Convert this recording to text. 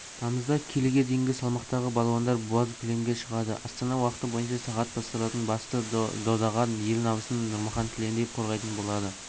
тамызда келіге дейінгі салмақтағы балуандар боз кілемге шығады астана уақыты бойынша сағат басталатын басты додаға ел намысын нұрмахан тіналиев қорғайтын болады